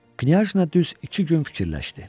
Knyajna düz iki gün fikirləşdi.